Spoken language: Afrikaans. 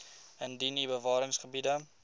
indien u bewaringsgebiede